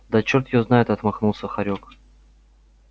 да чёрт её знает отмахнулся хорёк